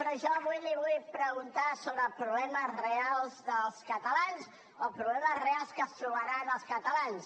però jo avui li vull preguntar sobre els problemes reals dels catalans o problemes reals que es trobaran els catalans